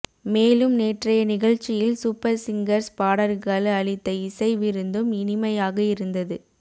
மேலும் நேற்றைய நிகழ்ச்சியில் சூப்பர் சிங்கர்ஸ் பாடகர்கள் அளித்த இசை விருந்தும் இனிமையாக இருந்தது